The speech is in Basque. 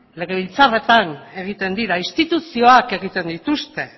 legebiltzarretan egiten dira instituzioak egiten dituzte